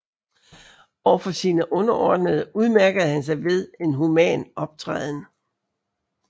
Over for sine underordnede udmærkede han sig ved en human optræden